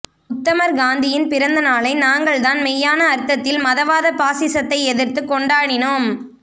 உத்தமர் காந்தியின் பிறந்த நாளை நாங்கள்தான் மெய்யான அர்த்தத்தில் மதவாத பாசிசத்தை எதிர்த்துக்கொண்டாடினோம்